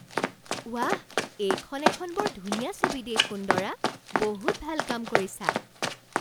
ৱাহ! এইখন এখন বৰ ধুনীয়া ছবি দেই সুন্দৰা! বহুত ভাল কাম কৰিছা।